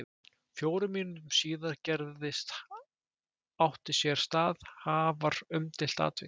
Fjórum mínútum síðar gerðist átti sér stað afar umdeilt atvik.